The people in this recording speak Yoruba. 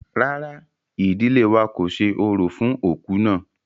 Rárá, ìdílé wa kò ṣe orò fún òkú náà.